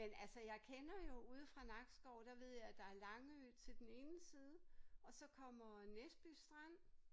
Men altså jeg kender jo ude fra Nakskov der ved jeg at der er Langø til den ene side og så kommer Næsby Strand